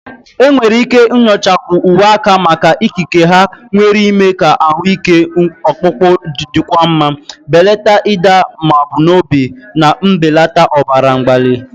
Enwere ike nyochakwu uwe aka maka ikike ha nwere ime ka ahụ ike ọkpụkpụ dịkwuo mma, belata ịda mbà n'obi, na mbelata ọbara mgbali.